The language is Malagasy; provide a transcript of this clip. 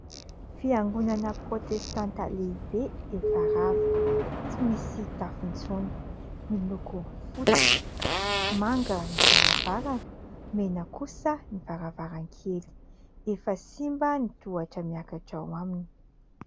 Fiangonana protestanta lehibe efa rava tsy misy tafo intsony, miloko fotsy, manga ny varavarana mena kosa ny varavaran-kely efa simba ny tohatra miakatra ao aminy.